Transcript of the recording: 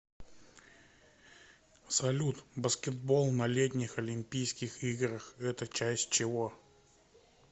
салют баскетбол на летних олимпийских играх это часть чего